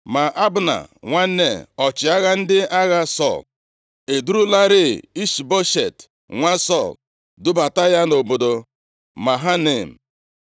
Ma Abna + 2:8 Abna, bụ nwa nwanne nna Sọl. Ọ bụ ọchịagha Sọl, onye gbalịsịrị ike ihu nʼocheeze Sọl dịgidere na-aga nʼihu. \+xt 1Sa 14:50; 2Sa 3:6\+xt* nwa Nea, ọchịagha ndị agha Sọl edurularịị Ishboshet, nwa Sọl, dubata ya nʼobodo Mahanaim.